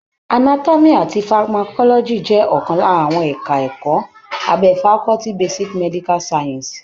Anatomy àti pharmacology jẹ́ ọ̀kan lára àwọn ẹka ẹ̀kọ́ abẹ́ faculty basic medical sciences.